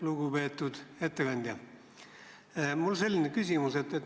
Lugupeetud ettekandja!